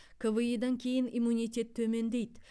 кви дан кейін иммунитет төмендейді